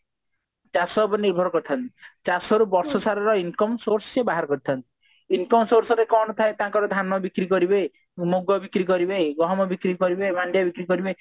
ଚାଷ ଉପରେ ନିର୍ଭର କରିଥାନ୍ତି ଚାଷରୁ ବର୍ଷ ସାରା ର income source ସିଏ ବାହାର କରିଥାନ୍ତି income source ରେ ତାଙ୍କର କଣ ଥାଏ ଧାନ ବିକ୍ରି କରିବେ ମୁଗ ବିକ୍ରି କରିବେଗହମ ବିକ୍ରି କରିବେ ମାଣ୍ଡିଆ ବିକ୍ରି କରିବେ